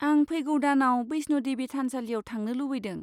आं फैगौ दानाव बैष्ण' देबि थानसालियाव थांनो लुबैदों।